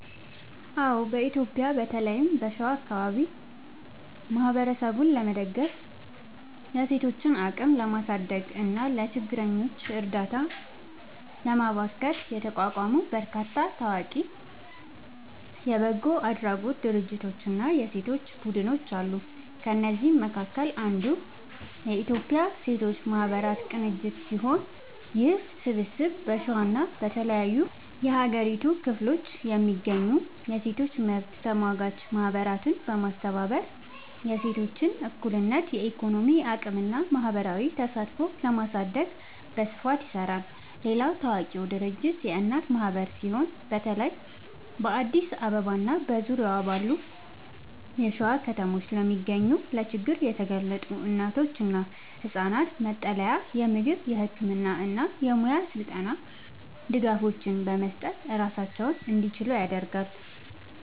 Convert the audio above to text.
አዎ፣ በኢትዮጵያ በተለይም በሸዋ አካባቢ ማህበረሰብን ለመደገፍ፣ የሴቶችን አቅም ለማሳደግ እና ለችግረኞች እርዳታ ለማበርከት የተቋቋሙ በርካታ ታዋቂ የበጎ አድራጎት ድርጅቶችና የሴቶች ቡድኖች አሉ። ከእነዚህም መካከል አንዱ የኢትዮጵያ ሴቶች ማህበራት ቅንጅት ሲሆን፣ ይህ ስብስብ በሸዋና በተለያዩ የሀገሪቱ ክፍሎች የሚገኙ የሴቶች መብት ተሟጋች ማህበራትን በማስተባበር የሴቶችን እኩልነት፣ የኢኮኖሚ አቅምና ማህበራዊ ተሳትፎ ለማሳደግ በስፋት ይሰራል። ሌላው ታዋቂ ድርጅት የእናት ማህበር ሲሆን፣ በተለይ በአዲስ አበባና በዙሪያዋ ባሉ የሸዋ ከተሞች ለሚገኙ ለችግር የተጋለጡ እናቶችና ህጻናት መጠለያ፣ የምግብ፣ የህክምና እና የሙያ ስልጠና ድጋፎችን በመስጠት ራሳቸውን እንዲችሉ ያደርጋል።